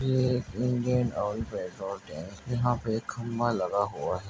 ये एक Indian Oil petrol tank है यहाँ पर खंभा लगा हुआ है।